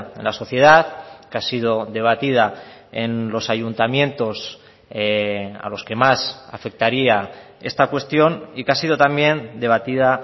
en la sociedad que ha sido debatida en los ayuntamientos a los que más afectaría esta cuestión y que ha sido también debatida